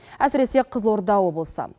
әсіресе қызылорда облысы